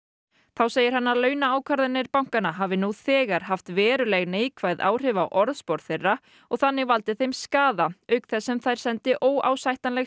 þá segir hann að launaákvarðanir bankanna hafi nú þegar haft veruleg neikvæð áhrif á orðspor þeirra og þannig valdið þeim skaða auk þess sem þær sendi óásættanleg